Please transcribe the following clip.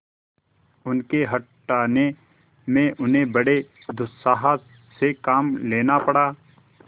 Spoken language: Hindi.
उनके हटाने में उन्हें बड़े दुस्साहस से काम लेना पड़ा